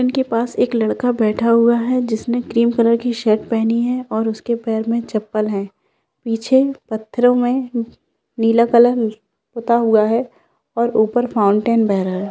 इनके पास एक लड़का बैठा हुआ है जिसने क्रीम कलर की शर्ट पहनी है और उसके पैर में चपल है पीछे पत्थरो में नीला कलर में पुता हुआ है और ऊपर फाउंटेन बेह रहा है।